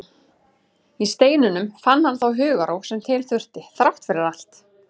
Í steininum fann hann þá hugarró sem til þurfti, þrátt fyrir allt.